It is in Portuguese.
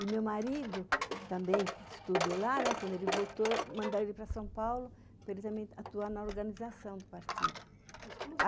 E meu marido também, que estudou lá, quando ele voltou, mandaram ele para São Paulo para ele também atuar na organização do partido.